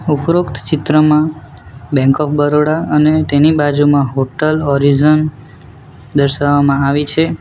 ઉપરોક્ત ચિત્રમાં bank of Baroda અને તેની બાજુમાં હોટલ ઓરીઝોન દર્શાવવામાં આવી છે.